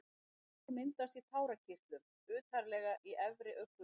Tár myndast í tárakirtlum utarlega í efri augnlokunum.